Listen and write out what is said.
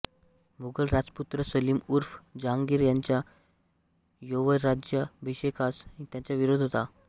मुघल राजपुत्र सलीम ऊर्फ जहांगीर याच्या यौवराज्याभिषेकास त्याचा विरोध होता